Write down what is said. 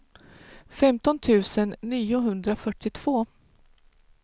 femton tusen niohundrafyrtiotvå